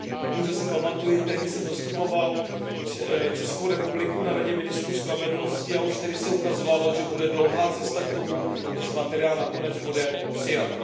Bohužel si pamatuji, tehdy jsem zastupoval Českou republiku na Radě ministrů spravedlnosti a už tehdy se ukazovalo, že bude dlouhá cesta k tomu, než materiál nakonec bude přijat.